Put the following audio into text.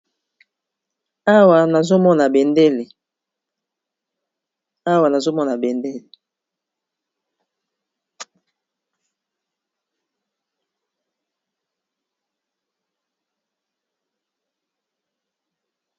awa nazomona bendele nabalangi ebele nakati